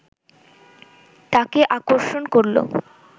তাকে আকর্ষণ করলো